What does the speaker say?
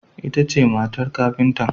Ita ce matar kafintan.